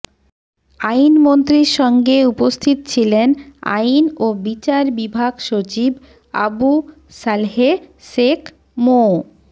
আইনমন্ত্রীর সঙ্গে উপস্থিত ছিলেন আইন ও বিচার বিভাগ সচিব আবু সালেহ শেখ মো